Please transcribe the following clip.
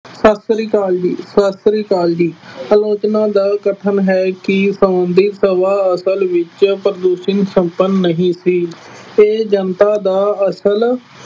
ਸਤਿ ਸ਼੍ਰੀ ਅਕਾਲ ਜੀ, ਸਤਿ ਸ਼੍ਰੀ ਅਕਾਲ ਜੀ, ਆਲੋਚਕਾ ਦਾ ਕਥਨ ਹੈ ਕਿ ਸੰਬੰਂਧਿਤ ਹਵਾ ਅਸਲ ਵਿੱਚ ਪ੍ਰਦੂਸ਼ਣ ਸੰਪੰਨ ਨਹੀਂ ਸੀ ਅਤੇ ਜਨਤਾ ਦਾ ਅਸਲ